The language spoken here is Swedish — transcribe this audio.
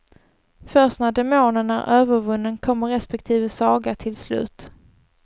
Först när demonen är övervunnen kommer respektive saga till slut.